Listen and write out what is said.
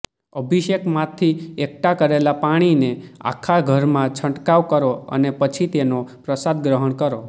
અભિષેકમાંથી એકઠા કરેલા પાણીને આખા ઘરમાં છંટકાવ કરો અને પછી તેનો પ્રસાદ ગ્રહણ કરો